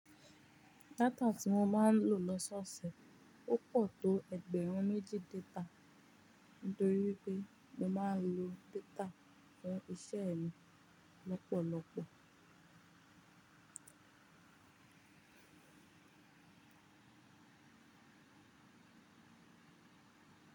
Data tí mo máa ń lò lọ́sọ̀ọ̀sẹ̀ ó pọ̀ tó ẹgbẹ̀rún méjì data nítorí wipé mo máa ń lo data fún iṣẹ́ mi lọ́pọ̀lọ́pọ̀.